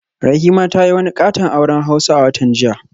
Rahima ta yi wani katon auren hausa a watan jiya